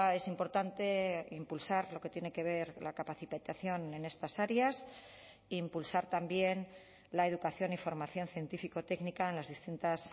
es importante impulsar lo que tiene que ver la capacitación en estas áreas impulsar también la educación y formación científico técnica en las distintas